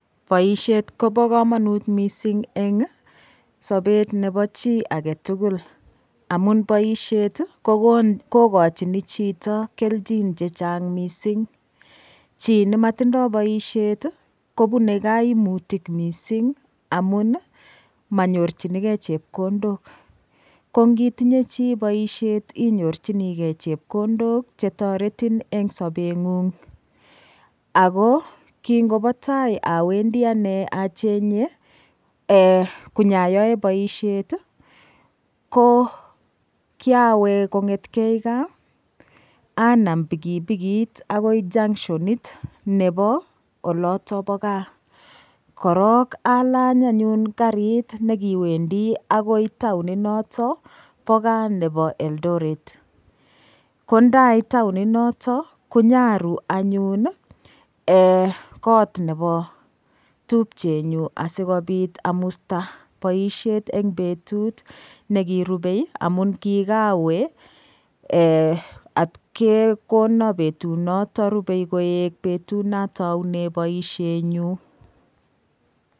Boishet kobo kamanut mising' eng' sobet nebo chi agetugul amun boishet kokochini chito keljin chechang' mising' chi nimatindoi boishet kobunei kaimutik mising' amun manyorchinigei chepkondok ko ngitinye chi boishet inyorchigei chepkondok chetoretin eng' sobeng'ung' ako ki ngobo tai awendi ane konyayoe boishet ko kiawe kong'etkei gaa anam pikipikit akoi junctionit nebo oloto bo gaa korok alany anyun karit nekiwendi agoi taoni noto bo gaa nebo eldoret ko ndait taoninoto konyaru anyun kot nebo tupchenyu asikobit amusta boishet eng' betut nekirubei amun kikawe atkekono betunoto rubei koek betut natoune boishenyu